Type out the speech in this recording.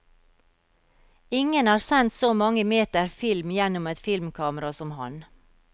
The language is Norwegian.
Ingen har sendt så mange meter film gjennom et filmkamera som ham.